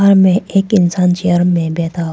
में एक इंसान चेयर में बैठा हो।